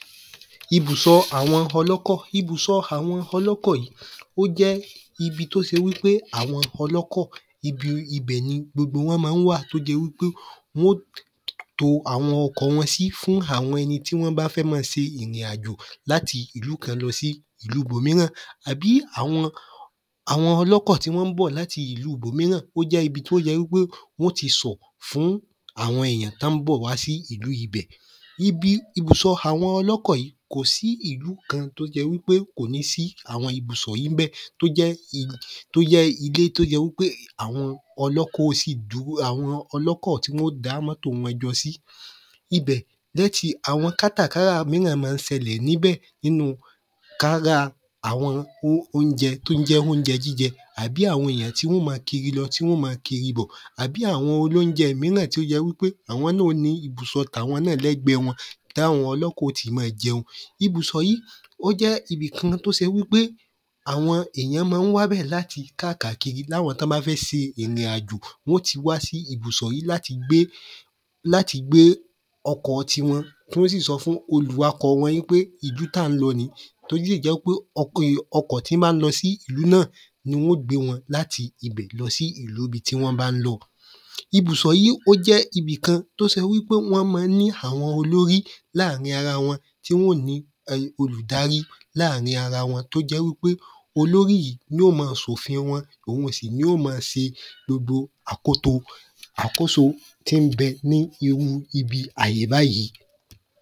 Ibùsọ àwọn ọlọ́kọ̀ Ibùsọ àwọn ọlọ́kọ̀ yìí ó jẹ́ ibi t’ó se wí pé àwọn ọlọ́kọ̀ ibi ibẹ̀ ni gbogbo wọ́n ma ń wà t’ó jẹ́ wí pé wọ́n ó to àwọn sí fún àwọn ẹni t’ọ́ bá fẹ́ ma se ìrìn àjò l’áti ìú kan lọ sí ìlú ‘bòmíràn àbí àwọn ọlọ́kọ̀ tí wọ́n bọ̀ l’áti ìlu ‘bòmíràn ó jẹ́ ibi t’ó jẹ wí pé wọ́n ó ti sọ̀ fún àwọn èyan t’ọ́ ń bọ̀ wá sí ìlú ibẹ̀ Ibi ìbùsọ àwọn ọlọ́kọ̀ yìí, kò sí ìlú kan t’ó jẹ́ wí pé kò ní sí àwọn ìbùsọ níbẹ̀ t’ó jẹ́ ilé t’ó jẹ́ wí pé àwọn ọlọ́kọ̀ ó sì àwọn ọlọ́kọ̀ tí wọ́n ó dá mọ́to wọn jọ sí àwọn kátàkárà míràn má ń sẹlẹ̀ ní ‘bẹ̀ k’ára àwọn óunjẹ t’ó ń jẹ́ óunjẹ jíjẹ́ àbí àwọn èyàn tí wọ́n ó ma kiri lọ tí wọ́n ó ma kiri bọ̀ àbí àwọn olóunjẹ́ míràn tí ó jẹ́ wí pé àwọn náà ó ní ìbùsọ t’àwọn lẹ́gbẹ́ wọn t’áwọn ọlọ́kọ̀ ó ti ma jẹun Ibùsọ yí ibi kan t’ó se wí pé, àwọn èyàn má ń wá bẹ̀ l’áti kákàkiri l’áwọn tí wọ́n bá fẹ́ se ìrìn àjò Wọ́n ó ti wá sí ìbùsọ yí l’áti gbé l’áti gbé ọkọ̀ ti wọn kí wọ́n sì sọ fún olùwa’kọ̀ wọn í pé ìlú t’á ń lọ nìí t’ó dẹ̀ jẹ́ ń pé ọkọ̀ tí ń bá ń lo sí ìlú náà ni wọ́n ó gbé wọn l’áti ibẹ̀ lọ sí ìlú ‘bi tí wọ́n bá ń lọ Ibùsọ yí ó jẹ́ ibi kan t’ó se wí pé wọ́n má ń ní àwọn olórí láàrin ara wọn tí wọ́n ó ní olùdarí láàrin ara wọn t’ó jẹ́ wí pé olórí yìí ni ó ma sòfin wọn òun sì ni ó ma se gbogbo àkóso tí ń bẹ ní irú ibi àyè báyí.